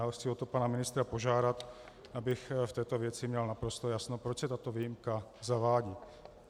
A chci o to pana ministra požádat, abych v této věci měl naprosto jasno, proč se tato výjimka zavádí.